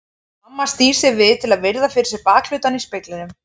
Mamma snýr sér við til að virða fyrir sér bakhlutann í speglinum.